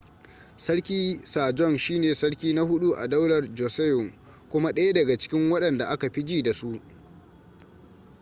sarki sajong shi ne sarki na huɗu a daular joseon kuma ɗaya daga cikin waɗanda aka fi ji da su